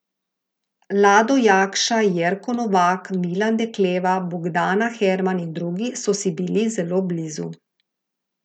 Lado Jakša, Jerko Novak, Milan Dekleva, Bogdana Herman in drugi so si bili zelo blizu.